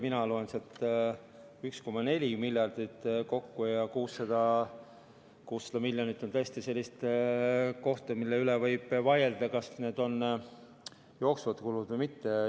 Mina loen sealt 1,4 miljardit kokku ja 600 miljonit on tõesti sellist raha, mille üle võib vaielda, kas see on jooksev kulu või mitte.